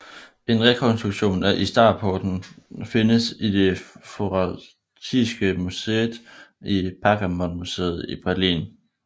En rekonstruktion af Istarporten findes i Det forasiatiske museet i Pergamonmuseet i Berlin